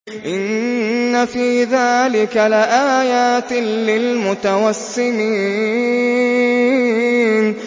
إِنَّ فِي ذَٰلِكَ لَآيَاتٍ لِّلْمُتَوَسِّمِينَ